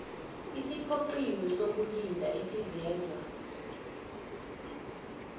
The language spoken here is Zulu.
esiphoqiwe sokulinda esivezwa